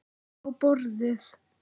Á borðið.